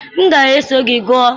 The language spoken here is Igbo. M ga-eso gị gụọ.